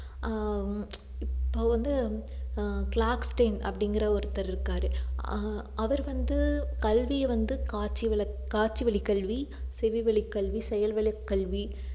ஆஹ் இப்போ வந்து ஆஹ் அப்படிங்கற ஒருத்தர் இருக்காரு ஆஹ் அவர் வந்து கல்வியை வந்து காட்சி வழ~ காட்சி வழிக்கல்வி, செவி வழிக்கல்வி, செயல் வழிக்கல்வி,